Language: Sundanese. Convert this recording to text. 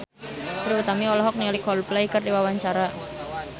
Trie Utami olohok ningali Coldplay keur diwawancara